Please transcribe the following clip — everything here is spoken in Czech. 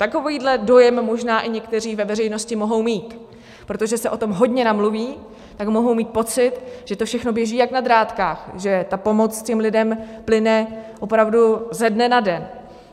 Takovýhle dojem možná i někteří ve veřejnosti mohou mít, protože se o tom hodně namluví, tak mohou mít pocit, že to všechno běží jak na drátkách, že ta pomoc těm lidem plyne opravdu ze dne na den.